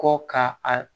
Kɔ ka a